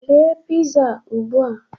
Rie piza a ugbu a